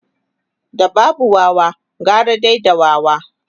da babu Wawa gara dai da wawa